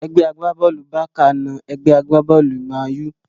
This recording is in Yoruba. Ẹgbẹ́ agbá-bọ́ọ̀lù Bákà na ẹgbẹ́ agbá-bọ́ọ̀lù mánù